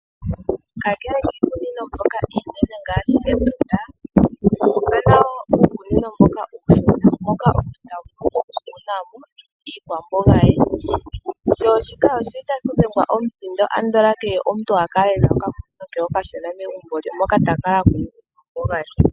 Kakele kiikunino mbyoka iinene ngaashi Etunda , okuna wo uukunino uushona moka omuntu ta vulu oku kuna iikwomboga ye. Otaku dhengwa omuthindo opo omuntu kehe a kale e na okakunino ke okashona megumbo moka ta kunu iikwamboga ye.